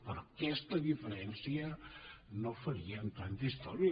per aquesta diferència no farien tanta història